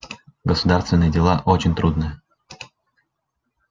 государственные дела очень трудные